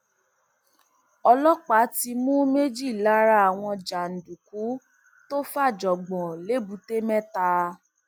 ọlọpàá ti mú méjì lára àwọn jàǹdùkú tó fàjọngbọn lẹbùtémẹta